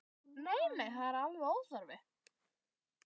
Nei, nei, það er alveg óþarfi.